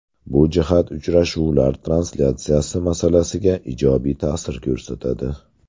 Bu jihat uchrashuvlar translyatsiyasi masalasiga ijobiy ta’sir ko‘rsatadi.